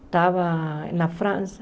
Estava na França.